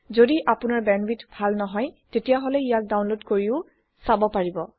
যদি আপোনাৰ বেণ্ডৱিডথ ভাল নহয় তেতিয়াহলে ইয়াক ডাউনলোড কৰিও চাব পাৰে